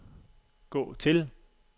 gå til